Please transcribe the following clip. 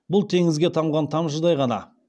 бұл теңізге тамған тамшыдай ғана